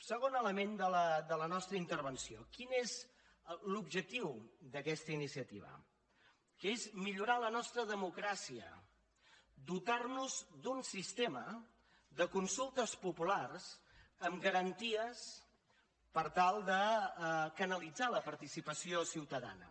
segon element de la nostra intervenció quin és l’objectiu d’aquesta iniciativa que és millorar la nostra democràcia dotar nos d’un sistema de consultes populars amb garanties per tal de canalitzar la participació ciutadana